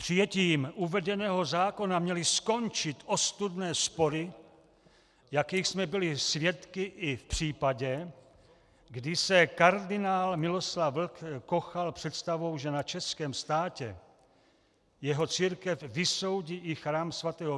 Přijetím uvedeného zákona měly skončit ostudné spory, jakých jsme byli svědky i v případě, kdy se kardinál Miloslav Vlk kochal představou, že na českém státě jeho církev vysoudí i chrám sv.